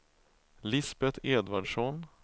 Lisbeth Edvardsson